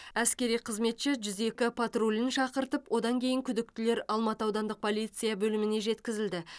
әскери қызметші жүз екі патрульді шақыртып одан кейін күдіктілер алматы аудандық полиция бөліміне жеткізілді